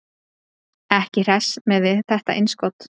Ekki hress með þetta innskot.